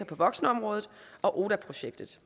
på voksenområdet og oda projektet